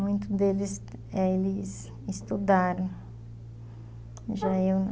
Muitos deles é eles estudaram, já eu não.